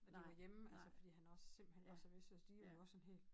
Når de var hjemme altså fordi han også simpelthen var så vestjysk de var jo også sådan helt